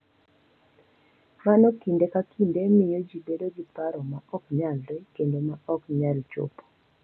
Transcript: Mano kinde ka kinde miyo ji bedo gi paro ma ok nyalre kendo ma ok nyal chopo